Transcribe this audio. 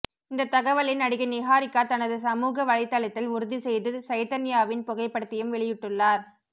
இந்த தகவலை நடிகை நிஹாரிகா தனது சமூக வலைத்தளத்தில் உறுதி செய்து சைதன்யாவின் புகைப்படத்தையும் வெளியிட்டுள்ளார்